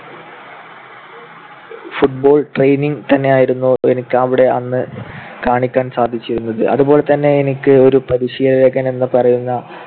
football training തന്നെയായിരുന്നു എനിക്ക് അവിടെ അന്ന് കാണിക്കാൻ സാധിച്ചിരുന്നത്. അതുപോലെതന്നെ എനിക്ക് ഒരു പരിശീലകൻ എന്ന് പറയുന്ന